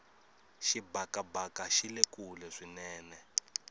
xibakabaka xile kule swinene